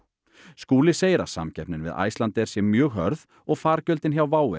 Skúli segir að samkeppnin við Icelandair sé mjög hörð og fargjöldin hjá WOW